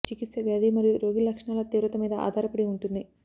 చికిత్స వ్యాధి మరియు రోగి లక్షణాల తీవ్రత మీద ఆధారపడి ఉంటుంది